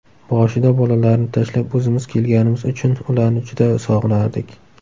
Boshida bolalarni tashlab o‘zimiz kelganimiz uchun ularni juda sog‘inardik.